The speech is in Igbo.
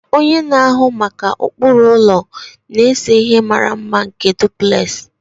Onye na-ahụ maka ụkpụrụ ụlọ na-ese ihe mara mma nke duplex